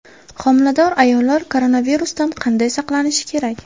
Homilador ayollar koronavirusdan qanday saqlanishi kerak?